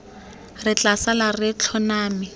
re tla sala re tlhoname